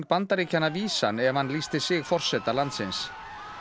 Bandaríkjanna vísan ef hann lýsti sig forseta landsins